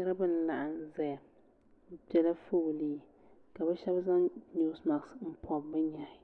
Niriba n laɣim zaya bi pɛla foolii ka bi shɛba zaŋ noosi maks n pɔbi bi nyehi